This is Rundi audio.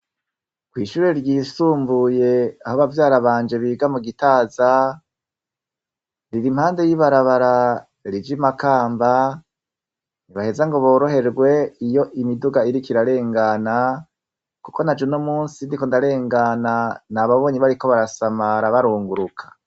Kw'ishure ryisumbuye aho bavyara banje biga mu Gitaza, riri impande y'ibarabara rija i Makamba, ntubaheza ngo boroherwe iyo imiduga iriko irarengana kuko naje uno munsi ndiko ndarengana, nababonye bariko barasamara barunguruka.